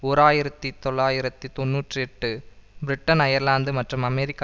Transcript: ஓர் ஆயிரத்தி தொள்ளாயிரத்து தொன்னூற்றி எட்டு பிரிட்டன் அயர்லாந்து மற்றும் அமெரிக்க